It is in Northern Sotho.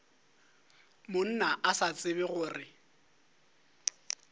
monna o sa tsebe gore